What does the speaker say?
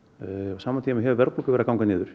á sama tíma hefur verðbólga verið að ganga niður